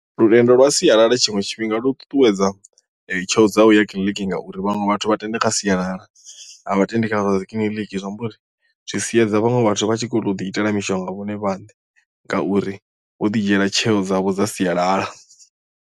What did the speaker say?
Lutendo lwa sialala tshiṅwe tshifhinga lu ṱuṱuwedza tsheo dzau ya kiḽiniki ngauri vhaṅwe vhathu vha tenda kha sialala a vha tendi khazwa dzi kiḽiniki zwi amba uri zwi siedza vhaṅwe vhathu vha tshi kho to ḓi itela mishonga vhone vhaṋe ngauri vho ḓi dzhiela tsheo dzavho dza sialala.